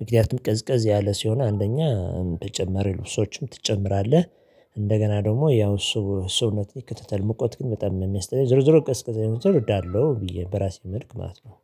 ምክንያቱም ቀዝቀዝ ያለ ሲሆን አንደኛ በጨመረ ልብሶችም ትጨምራለህ። እንደገና ደግሞ ያው እሱ እሱን እንደተከተተል መቆት ግን በጣም ነው የሚያስጠላኝ ዞርዞር ቅዝቀዛ የምትሆን እወዳለሁ ብዬ በራሴ መልኩ ማለት ነው